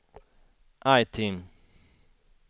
item